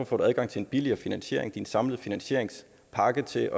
får adgang til en billigere finansiering din samlede finansieringspakke til